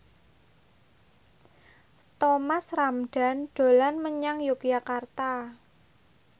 Thomas Ramdhan dolan menyang Yogyakarta